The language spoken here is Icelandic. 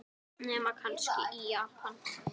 Nema kannski í Japan.